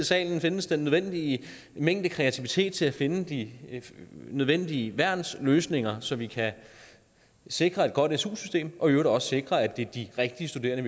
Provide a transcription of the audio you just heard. salen her findes den nødvendige mængde kreativitet til at finde de nødvendige værnsløsninger så vi kan sikre et godt su system og i øvrigt også sikre at det er de rigtige studerende